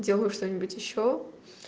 делаю что-нибудь ещё